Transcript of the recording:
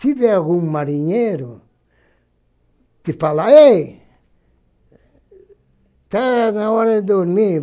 Se vier algum marinheiro, você fala, ei, está na hora de dormir.